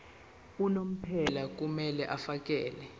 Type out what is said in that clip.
unomphela kumele afakele